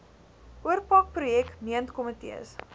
oorpak projek meentkomitees